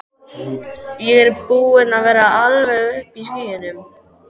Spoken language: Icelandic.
Ég er búinn að vera alveg uppi í skýjunum.